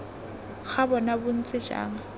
ga bona bo ntse jang